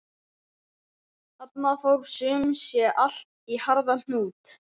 Þarna fór sum sé allt í harða hnút.